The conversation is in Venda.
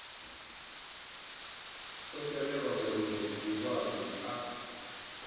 o shelelwa mulimo zwiḽiwani a